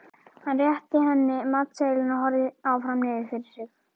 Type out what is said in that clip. Hann rétti henni matseðilinn og horfði áfram niður fyrir sig.